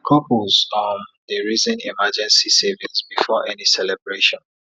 couples um dey reason emergency savings before any celebration